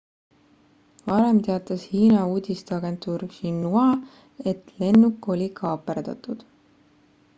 varem teatas hiina uudisteagentuur xinhua et lennuk oli kaaperdatud